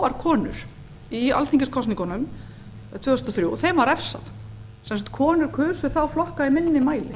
fáar konur í alþingiskosningunum tvö þúsund og þrjú þeim var refsað sem sagt konur kusu þá flokka í minni mæli